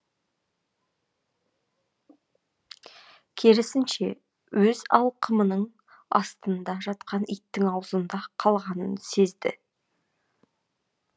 керісінше өз алқымының астында жатқан иттің аузында қалғанын сезді